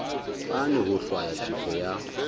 fane ho hlwaya tefo ya